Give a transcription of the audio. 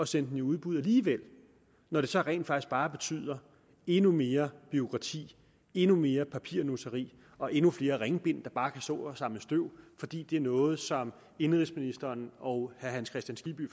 sætte den i udbud alligevel når det så rent faktisk bare betyder endnu mere bureaukrati endnu mere papirnusseri og endnu flere ringbind der bare kan stå og samle støv fordi det er noget som indenrigsministeren og herre hans kristian skibby